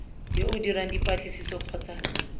yo o dirang dipatlisiso kgotsa